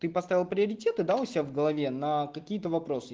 ты поставил приоритеты да у себя в голове на какие-то вопросы